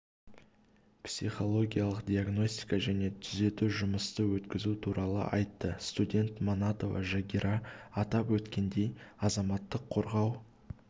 психологиялық диагностика және тузету жұмысты өткізу туралы айтты студент манатова жагира атап өткендей азаматтық қорғау